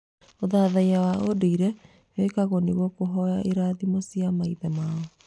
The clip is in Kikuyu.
Ũthathaiya wa ũndũire wekagwo nĩguo kũhoya irathimocia maithe mao.